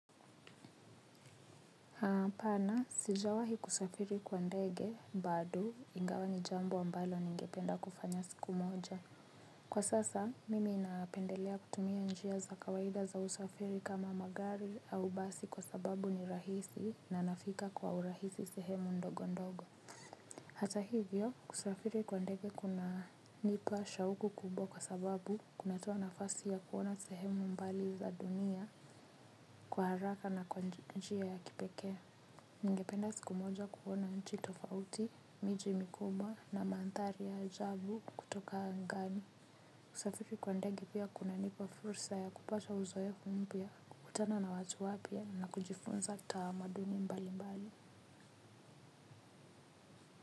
Hapana, sijawahi kusafiri kwa ndege, bado ingawa ni jambo ambalo ningependa kufanya siku moja. Kwa sasa, mimi napendelea kutumia njia za kawaida za usafiri kama magari au basi kwa sababu ni rahisi na nafika kwa urahisi sehemu ndogo ndogo. Hata hivyo, kusafiri kwa ndege kunanipa shauku kubwa kwa sababu kunatoa nafasi ya kuona sehemu mbali za dunia kwa haraka na kwa njia ya kipekee. Ningependa siku moja kuona nchi tofauti, miji mikubwa na mandhari ya ajabu kutoka angani. Kusafiri kwa ndege pia kunanipa fursa ya kupasha uzoefu mpya. Kukutana na watu wapya na kujifunza tamaduni mbalimbali.